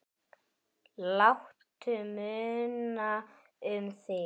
Láttu muna um þig.